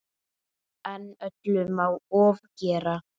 En öllu má ofgera.